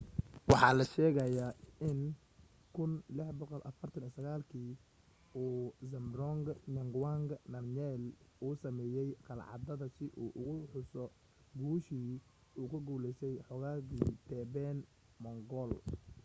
waxa la sheegaa in 1649 kii uu zhabdrung ngawang namgyel uu sameeyay qalcadda si uu ugu xuso guushii u ka guulaystay xoogagii tibetan-mongol